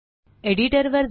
एडिटरवर जा